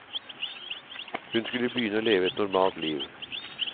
Hun skulle begynne å leve et normalt liv.